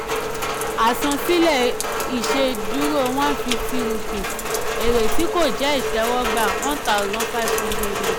àsansílẹ̀ ìṣèdúró one fifty rupees; èrè tí kò jẹ́ ìtẹwọ́gbà one thousand five hundred ru.